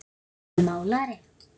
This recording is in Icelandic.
Jói málari